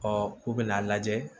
Ɔ k'u bɛna a lajɛ